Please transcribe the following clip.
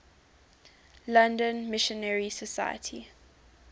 london missionary society